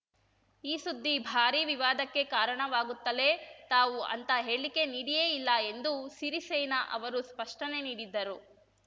ಈ ಸುದ್ದಿ ಭಾರೀ ವಿವಾದಕ್ಕೆ ಕಾರಣವಾಗುತ್ತಲೇ ತಾವು ಅಂಥ ಹೇಳಿಕೆ ನೀಡಿಯೇ ಇಲ್ಲ ಎಂದು ಸಿರಿಸೇನಾ ಅವರು ಸ್ಪಷ್ಟನೆ ನೀಡಿದ್ದರು